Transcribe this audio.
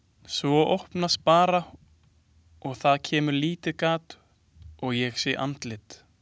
Svo opnast bara og það kemur lítið gat og ég sé andlit.